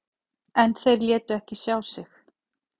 En þeir létu ekki sjá sig.